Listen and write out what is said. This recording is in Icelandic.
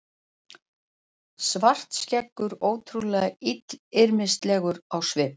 Svartskeggur ótrúlega illyrmislegur á svipinn.